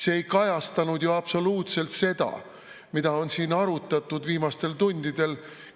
See ei kajastanud ju absoluutselt seda, mida on siin viimastel tundidel arutatud.